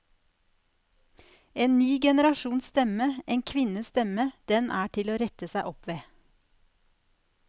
En ny generasjons stemme, en kvinnes stemme, den er til å rette seg opp ved.